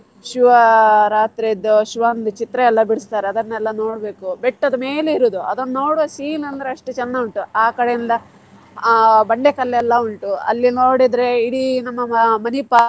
ಶಿವ ರಾತ್ರಿದ್ದು ಶಿವಂದ್ ಚಿತ್ರ ಎಲ್ಲ ಬಿಡಿಸ್ತಾರೆ ಅದನ್ನೆಲ್ಲಾ ನೋಡ್ಬೇಕು ಬೆಟ್ಟದ ಮೇಲೆ ಇರೋದು ಅದನ್ನ ನೋಡುವ scene ಅಂದ್ರೆ ಅಷ್ಟು ಚಂದ ಉಂಟು ಆಕಡೆ ಇಂದ ಆ ಬಂಡೆ ಕಲ್ಲೆಲ್ಲ ಉಂಟು ಅಲ್ಲಿ ನೋಡಿದ್ರೆ ಇಡೀ ನಮ್ಮ Ma~ Manipal .